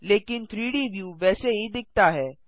लेकिन 3डी व्यू वैसे ही दिखता है